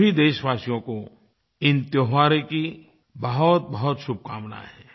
सभी देशवासियो को इन त्योहारों की बहुतबहुत शुभकामनाएँ हैं